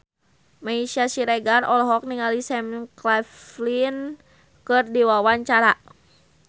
Meisya Siregar olohok ningali Sam Claflin keur diwawancara